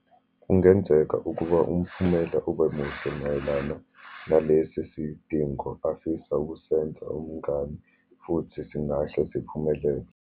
Kungenzeka ukuba umphumela ube muhle mayelana nalesi sidingo afisa ukusenza umngani, futhi singahle siphumelele.